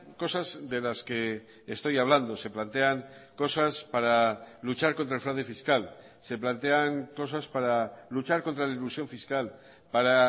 cosas de las que estoy hablando se plantean cosas para luchar contra el fraude fiscal se plantean cosas para luchar contra la elusión fiscal para